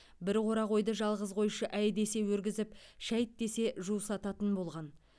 бір қора қойды жалғыз қойшы әй десе өргізіп шәйт десе жусататын болған